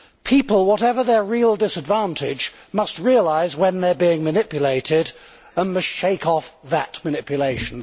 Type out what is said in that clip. People, whatever their real disadvantage, must realise when they are being manipulated and must shake off that manipulation.